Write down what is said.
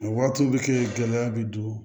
O waatiw be kɛ gɛlɛya be don